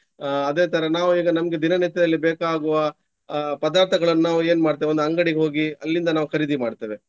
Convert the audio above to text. ಆ ಅದೇ ತರ ನಾವು ಈಗ ನಮ್ಗೆ ದಿನನಿತ್ಯದಲ್ಲಿ ಬೇಕಾಗುವ ಅಹ್ ಪದಾರ್ಥಗಳನ್ನು ನಾವು ಏನ್ ಮಾಡ್ತೇವೆ ಒಂದು ಅಂಗಡಿಗೆ ಹೋಗಿ ಅಲ್ಲಿಂದ ನಾವು ಖರೀದಿ ಮಾಡ್ತೇವೆ.